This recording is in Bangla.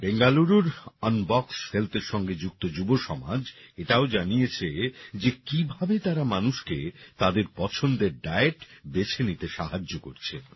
বেঙ্গালুরুর আনবক্স হেলথের সঙ্গে যুক্ত যুবসমাজ এটাও জানিয়েছে যে কিভাবে তারা মানুষকে তাদের পছন্দের ডায়েট বেছে নিতে সাহায্য করছে